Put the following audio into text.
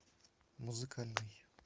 музыкальный